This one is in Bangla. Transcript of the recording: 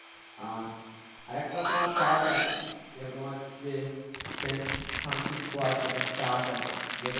আর আরেকটা তোমার church আছে যেখানে তোমার হচ্ছে sent francis আছে একটা church আছে যেটা